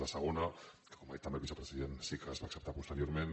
la segona que com ha dit també el vicepresident sí que es va acceptar posteriorment